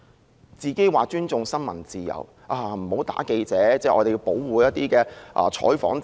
她說自己尊重新聞自由，記者不能打，應該保護採訪自由。